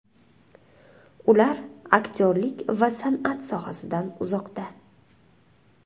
Ular aktyorlik va san’at sohasidan uzoqda.